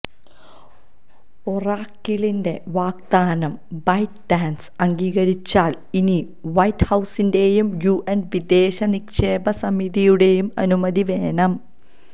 ഒറാക്കിളിന്റെ വാഗ്ദാനം ByteDance അംഗീകരിച്ചാല് ഇനി വൈറ്റ് ഹൌസിന്റെയും യുഎസ് വിദേശനിക്ഷേപ സമിതിയുടെയും അനുമതി വേണം